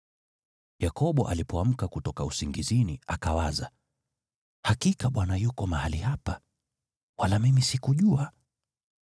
Yakobo alipoamka kutoka usingizini, akawaza, “Hakika Bwana yuko mahali hapa, wala mimi sikujua.”